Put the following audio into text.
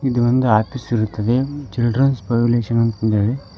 ಇದು ಒಂದು ಆಫೀಸು ಇರುತ್ತದೆ ಚಿಲ್ಡ್ರನ್ಸ್ ಫೆವಿಲೇಶನ್ ಅಂತಂದ್ಹೇಳಿ.